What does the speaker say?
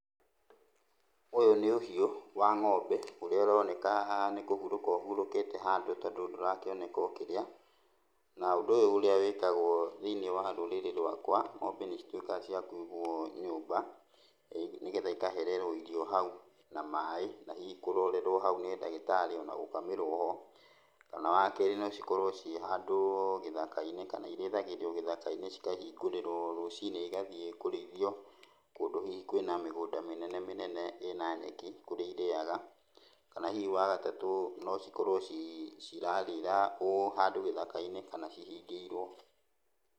Ũyũ nĩ ũhiũ wa ng'ombe ũrĩa ũroneka haha nĩ kũhurũka ũhurũkĩte handũ tondũ ndũrakĩoneka ũkĩrĩa. Na ũndũ ũyũ ũrĩa wĩkagwo thĩiniĩ wa rũrĩrĩ rũakwa, ng'ombe nĩcituĩkaga cia kũigũo nyũmba nĩgetha ikahererwo irio hau na maĩ na hihi kũrorerwo hau nĩ ndagĩtarĩ ona gũkamĩrwo ho, kana wakerĩ no cikorwo ciĩ handũ gĩthaka-inĩ kana irĩithagĩrio gĩthaka-inĩ cikahingũrĩrwo rũcinĩ igathiĩ kũrĩithio, kũndũ hihi kwĩna mĩgũnda mĩnene mĩnene ĩna nyeki kũrĩa irĩaga, kana hihi wagatatũ no cikorwo cirarĩra ũũ handũ gĩthaka-inĩ kana hihi ihingĩirwo.